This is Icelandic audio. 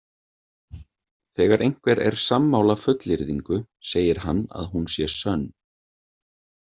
Þegar einhver er sammála fullyrðingu, segir hann að hún sé „sönn“.